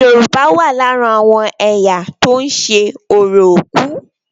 Yorùbá wà lára àwọn ẹ̀yà tó ń ṣe orò òkú.